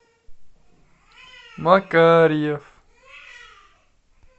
макарьев